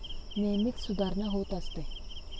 नेहमीच सुधारणा होत असते.